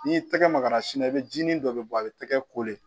N'i y'i tɛgɛ maga sin na i bɛ ji nin dɔ de bɔ a bɛ tɛgɛ kole